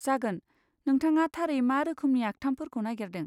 जागोन, नोंथाङा थारै मा रोखोमनि आखथामफोरखौ नागेरदों?